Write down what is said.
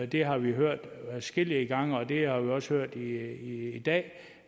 det har vi hørt adskillige gange og det har vi også hørt i dag